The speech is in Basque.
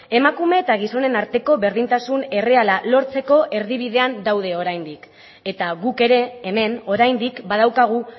emakume eta gizonen arteko berdintasun erreala lortzeko erdibidean daude oraindik eta guk ere hemen oraindik badaukagu